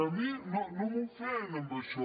que a mi no m’ofèn amb això